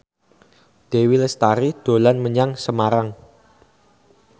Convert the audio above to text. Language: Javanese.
Dewi Lestari dolan menyang Semarang